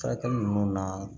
Furakɛli ninnu na